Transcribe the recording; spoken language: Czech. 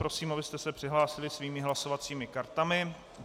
Prosím, abyste se přihlásili svými hlasovacími kartami.